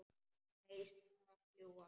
Neistar fljúga.